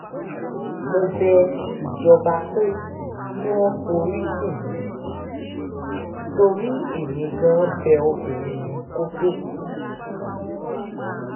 mo bẹ ìjọba pé kí wọ́n forí jìn mí o torí èmi gan-an bẹ obìnrin yẹn kó tóó kú